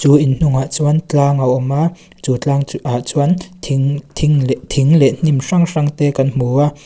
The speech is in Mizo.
chu in hnungah chuan tlang a awm a chu tlang chu ah chuan thing thing leh thing leh hnim hrang hrang te kan hmu a.